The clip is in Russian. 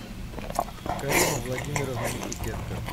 карима владимировна никитенко